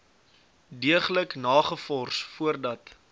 deeglik nagevors voordat